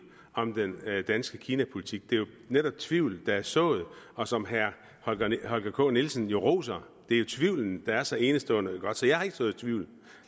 om den danske kinapolitik det er jo netop tvivl der er sået og som herre holger k nielsen jo roser det er jo tvivlen der er så enestående god så jeg har ikke sået tvivl